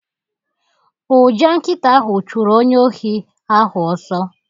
Ụja nkịta ahụ chụrụ onye ohi ahụ ọsọ